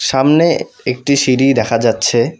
সামনে একটি সিঁড়ি দেখা যাচ্ছে।